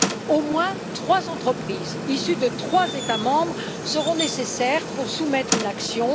Au moins trois entreprises issues de trois États membres seront nécessaires pour soumettre une action.